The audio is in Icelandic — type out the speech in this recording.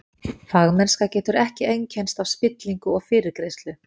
Fagmennska getur ekki einkennst af spillingu og fyrirgreiðslu.